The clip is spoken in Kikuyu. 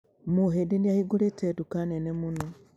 Mũhĩndi nĩ ahingũrĩte nduka nene mũno.